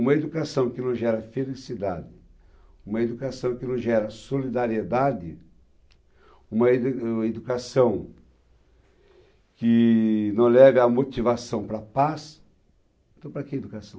Uma educação que não gera felicidade, uma educação que não gera solidariedade, uma edu uma educação que não leve a motivação para a paz, então para que educação?